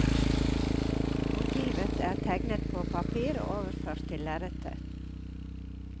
Motivet er tegnet på papir og overført til lerretet.